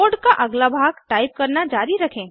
code का अगला भाग टाइप करना जारी रखें